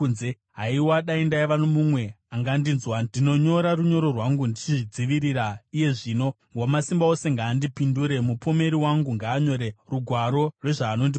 “Haiwa, dai ndaiva nomumwe angandinzwa! Ndinonyora runyoro rwangu ndichizvidzivirira iye zvino, Wamasimba Ose ngaandipindure; mupomeri wangu ngaanyore rugwaro rwezvaanondipomera.